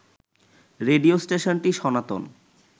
radio স্টেশনটি সনাতন